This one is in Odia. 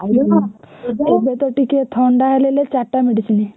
ଏବେତ ଟିକେ ଥଣ୍ଡା ହେଲେ ହେଲେ ଚାରଟା medicine